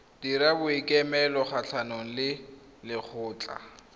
dira boikuelo kgatlhanong le lekgotlha